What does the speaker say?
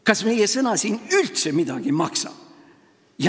Kas meie sõna siin üldse midagi maksab?